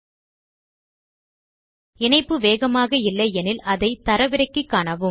உங்கள் இணைப்பு வேகமாக இல்லை எனில் அதை தரவிறக்கி காணலாம்